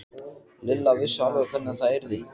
Lilla vissi alveg hvernig það yrði.